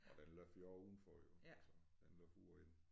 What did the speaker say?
Og den løber jo også udenfor jo altså den løber ude og inde